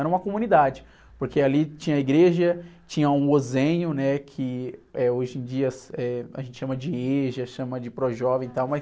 Era uma comunidade, porque ali tinha igreja, tinha um, né? Que, eh, hoje em dia, eh, a gente chama de EJA, chama de Pró-jovem e tal, mas...